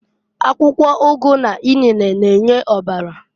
Akwụkwọ ụgụ n'inene na-enye ọbara.